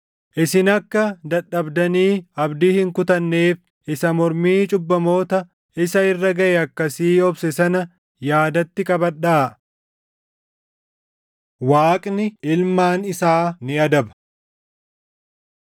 Isin akka dadhabdanii abdii hin kutanneef isa mormii cubbamoota isa irra gaʼe akkasii obse sana yaadatti qabadhaa. Waaqni Ilmaan Isaa ni Adaba